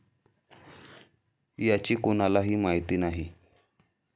याची कुणालाही माहिती नाही.